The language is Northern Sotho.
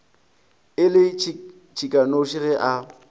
e le tšhikanoši ge a